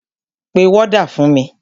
Pe wọ́dà fún mi!